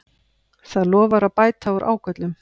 Það lofar að bæta úr ágöllum